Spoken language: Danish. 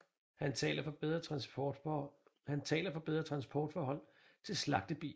Han taler for bedre transportforhold til slagtebier